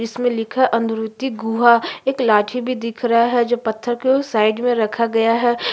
इसमें लिखा हुए अरुन्दति गुहा एक लाठी भी दिखा रहा है जो पत्थर के उस साइड में रखा हुआ है ।